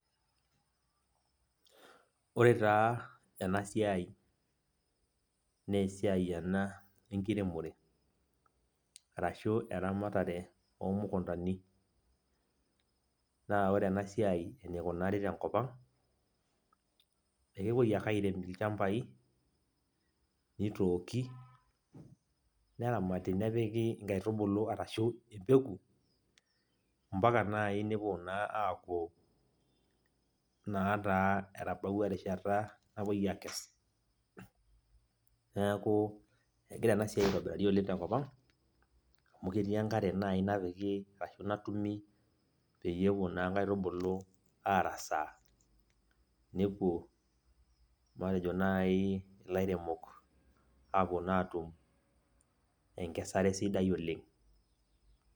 ore taa ena siai, naa esiaii ena enkiremore. ashu eramatare ena oo mukuntani. naa ore ena siai enikunari tenkop ang, ekepuoi ake airem ilchampai, nitooki, neramati nepiki nkaitubulu arashu empeku. mpaka naai nepuo naa aaku naa taa etabaua erishata napuoi aakes. neeku egira ena siai aitobirari oleng tenkop ang. amu ketii enkare naaji napiki ashu natumi peyie epuo naa nkaitubulu arasaa. nepuo, matejo nai ilaremok matejo naa aatum enkasare sidai oleng.